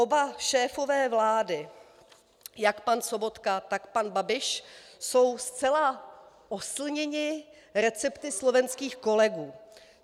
Oba šéfové vlády, jak pan Sobotka, tak pan Babiš, jsou zcela oslněni recepty slovenských kolegů.